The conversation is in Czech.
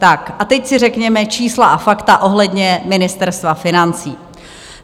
Tak a teď si řekněme čísla a fakta ohledně Ministerstva financí.